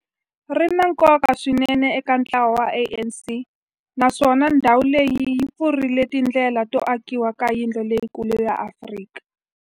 ri na nkoka swinene eka ntlawa wa ANC, naswona ndhawu leyi yi pfurile tindlela to akiwa ka yindlu leyikulu ya Afrika